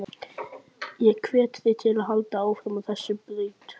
Ég hvet þig til að halda áfram á þessari braut.